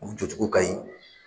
U jɔ cogo ka ɲi.